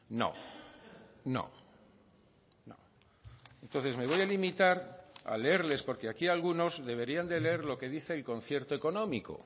no no entonces me voy a limitar a leerles porque aquí algunos deberían de leer lo que dice el concierto económico